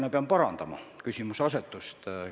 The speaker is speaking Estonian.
Ma pean natuke küsimuse asetust parandama.